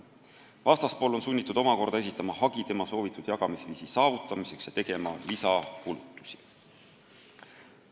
Vastaspool on sunnitud omakorda esitama hagi tema soovitud jagamisviisi saavutamiseks ja tegema lisakulutusi.